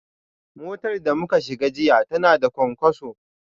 Motar da muka shiga jiya tana da cunkoso